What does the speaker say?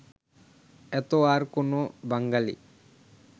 এত আর কোন বাঙ্গালী